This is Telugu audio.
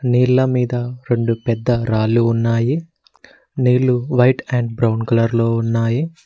నీళ్ల మీద రెండు పెద్ద రాళ్లు ఉన్నాయి నీళ్లు వైట్ అండ్ బ్రౌన్ కలర్ లో ఉన్నాయి.